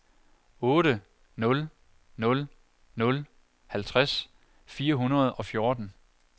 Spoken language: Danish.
otte nul nul nul halvtreds fire hundrede og fjorten